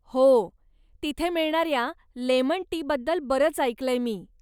हो, तिथे मिळणाऱ्या 'लेमन टी'बद्दल बरंच ऐकलंय मी.